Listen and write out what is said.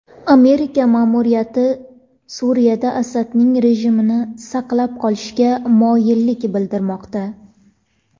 Amerika ma’muriyati Suriyada Asadning rejimini saqlab qolishga moyillik bildirmoqda.